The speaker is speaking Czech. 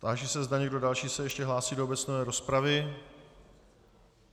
Táži se, zda někdo další se ještě hlásí do obecné rozpravy.